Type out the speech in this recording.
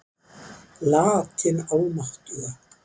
Lat hin almáttuga.